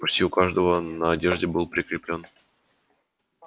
почти у каждого на одежде был прикреплён